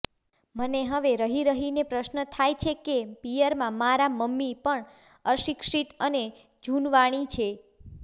મને હવે રહીરહીને પ્રશ્ન થાય છે કે પિયરમાં મારાં મમ્મી પણ અશિક્ષિત અને જુનવાણી છે